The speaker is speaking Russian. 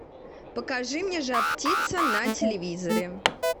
покажи мне жар птица на телевизоре